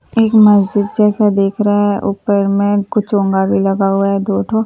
एक मस्जिद जैसा दिख रहा है ऊपर में कुछ चोंगा भी लगा हुआ है दो ठो--